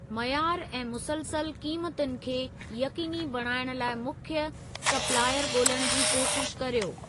मयारु ऐं मुसलसल क़ीमतुनि खे यक़ीनी बणाइणु लाइ मुख्य सपिलायर ॻोल्हण जी कोशिश कर्यो।